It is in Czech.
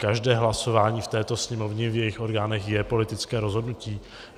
Každé hlasování v této Sněmovně, v jejích orgánech, je politické rozhodnutí.